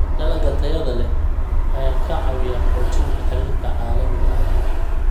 Dalagga tayada leh ayaa ka caawiya xoojinta xiriirka caalamiga ah.